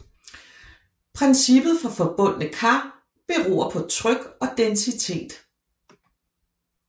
Princippet for forbundne kar beror på tryk og densitet